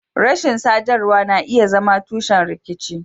Rashin sadarwa na iya zama tushen rikici.